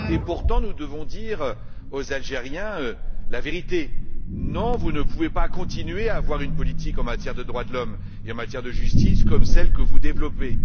Pourtant, nous devons dire la vérité aux Algériens non, vous ne pouvez pas continuer à avoir une politique en matière de droits de l'homme et en matière de justice comme celle que vous menez.